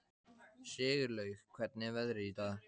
Sigurlaug, hvernig er veðrið í dag?